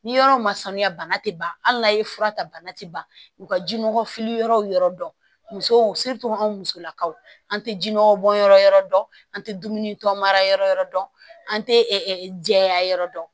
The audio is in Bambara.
Ni yɔrɔ ma sanuya bana tɛ ban hali n'a ye fura ta bana tɛ ban u ka jinɔgɔ fili yɔrɔw yɔrɔ dɔn musow anw musolakaw an tɛ jinɔgɔ bɔnyɔrɔ dɔn an tɛ dumuni tɔ mara yɔrɔ dɔn an tɛ jɛya yɔrɔ dɔn